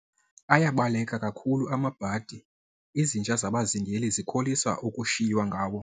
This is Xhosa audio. Ayabaleka kakhulu amabhadi, izinja zabazingeli zikholisa ukushiywa ngawo.